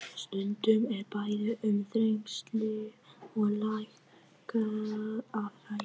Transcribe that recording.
Stundum er bæði um þrengsli og leka að ræða.